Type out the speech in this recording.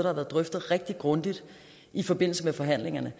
har været drøftet rigtig grundigt i forbindelse med forhandlingerne